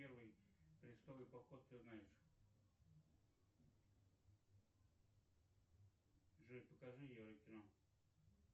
первый крестовый поход ты знаешь джой покажи еврокино